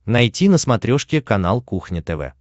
найти на смотрешке канал кухня тв